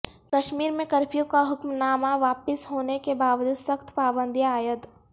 کشمیر میں کرفیو کا حکم نامہ واپس ہونے کے باوجود سخت پابندیاں عائد